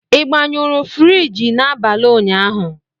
Ị gbanyụrụ friji n'abalị ụnyaahụ?